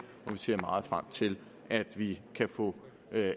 vi ser meget frem til at vi kan få